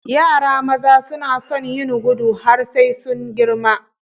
Yara maza suna sun yin gudu har sai sun girma.